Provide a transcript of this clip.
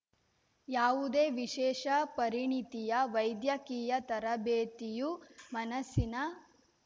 ಯಾವುದೇ ವಿಶೇಷ ಪರಿಣತಿಯ ವೈದ್ಯಕೀಯ ತರಬೇತಿಯೂ ಮನಸ್ಸಿನ